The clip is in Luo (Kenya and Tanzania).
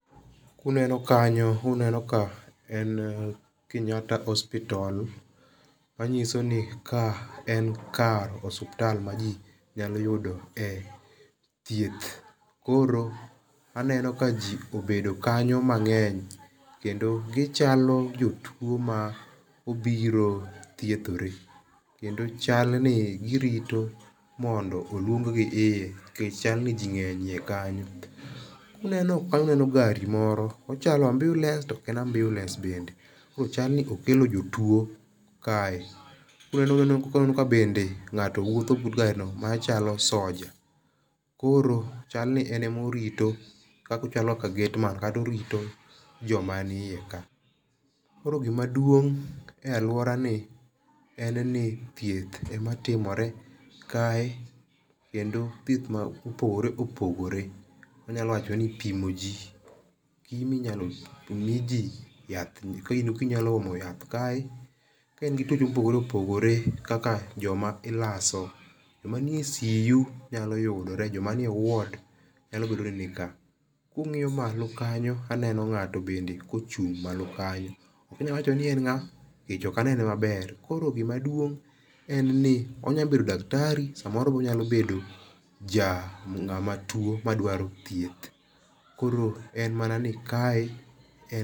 Uneno kanyo uneno ka en Kenyatta Hospital manyiso ni ka en kar osiptal maji nyalo yudo e thieth koro aneno ka ji obedo kanyo mang'eny kendo gichalo jotuo ma obiro thiedhore kendo chal ni girito mondo oluong gi iye nikech chal ni ji ng'eny eiye kanyo. Aneno gari moro ochalo ambiulens to ok en ambiulens bende. Ochal ni okelo jotuo kae koro aneno ka bende ng'ato wuotho but garino machalo soja. Koro chal ni en ema orito ochalo kaka gateman kata orito joma ni iye ka. Koro gima duong'e aluorani en nithieth ema timore kae kendo thieth ma opogore opogore anyalo wacho ni ipimo ji gi minyalo miji ka inyalo omo yath kae ka in gi tuoche mopogore opogore kaka joma ilaso, joma nie CU nyalo yudore, joma nie ward nyalo bedo ni nika. Ka wang'iyo malo kanyo aneno ng'ato bende kochung' malo kanyo. Ok anyal wacho ni en ng'a nikech ok anene maber, koro gima duong' en ni onyalo bedo daktari samoro be onyalo bedo ja ng'ama tuo madwaro thieth. Koro en mana nikae en